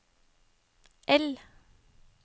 L